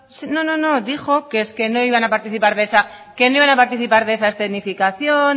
dijo que es que no iban a participar de esa escenificación